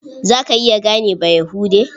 Za ka iya gane Bayahude?